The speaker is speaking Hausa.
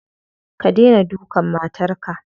Ka dena dukan matarka.